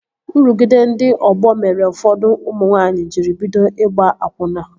Nrụgide ndị ọgbọ mere ụfọdụ ụmụ nwanyị jiri bido ịgba akwụna